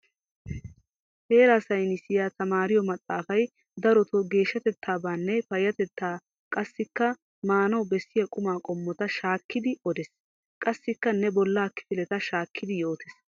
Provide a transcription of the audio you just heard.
Heeraa saynissiya tamaariyo maxaafay darotoo geeshshatettaabaanne payyatetta qassikka maanawu bessiya qumaa qommota shaakkidi odees. Qassikka ne bollaa kifileta shaakkidi yootees.